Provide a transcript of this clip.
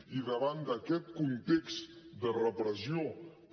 i davant d’aquest context de repressió que